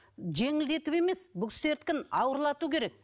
жеңілдетіп емес бұл кісілердікін ауырлату керек